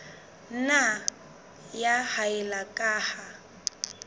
nna ya haella ka ha